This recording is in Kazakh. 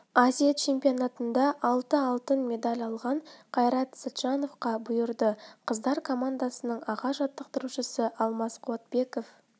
азия чемпионатында алты алтын медаль алған қайрат сәтжановқа бұйырды қыздар командасының аға жаттықтырушысы алмас қуатбеков